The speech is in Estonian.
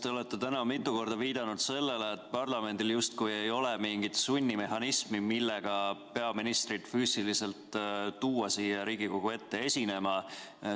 Te olete täna mitu korda viidanud sellele, et parlamendil justkui ei ole mingit sunnimehhanismi, millega peaministrit füüsiliselt tuua siia Riigikogu ette esinema.